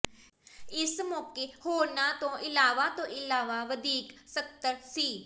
ਇਸ ਮੌਕੇ ਹੋਰਨਾਂ ਤੋਂ ਇਲਾਵਾ ਤੋਂ ਇਲਾਵਾ ਵਧੀਕ ਸਕੱਤਰ ਸ